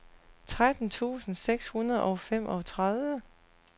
tretten tusind seks hundrede og femogtredive